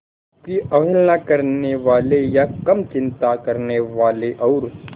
आपकी अवहेलना करने वाले या कम चिंता करने वाले और